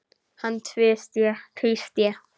Hann tvísté.